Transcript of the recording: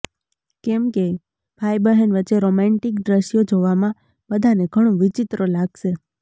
કેમ કે ભાઈ બહેન વચ્ચે રોમાંટીક દ્રશ્યો જોવામાં બધાને ઘણું વિચિત્ર લાગશે